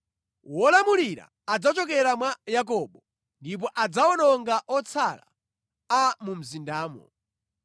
Wolamulira adzachokera mwa Yakobo ndipo adzawononga otsala a mu mzindamo.”